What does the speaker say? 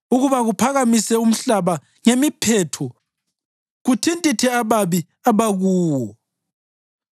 ukuba kuphakamise umhlaba ngemiphetho kuthintithe ababi abakuwo?